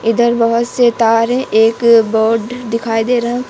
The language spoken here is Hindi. इधर बहोत से तार है एक बोड दिखाई दे रहा--